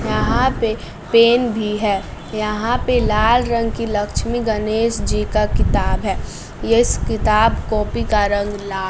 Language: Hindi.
यहां पे पेन भी है यहां पे लाल रंग की लक्ष्मी गनेश जी का किताब है किताब-कॉपी का रंग ला --